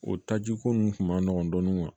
O taji ko nunnu kun ma nɔgɔn dɔɔni